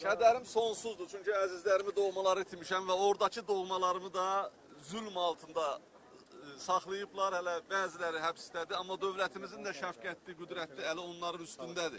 Kədərim sonsuzdur, çünki əzizlərimi, doğmaları itirmişəm və ordakı doğmalarımı da zülm altında saxlayıblar, hələ bəziləri həbsdədir, amma dövlətimizin də şəfqətli, qüdrətli əli onların üstündədir.